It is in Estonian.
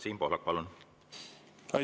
Siim Pohlak, palun!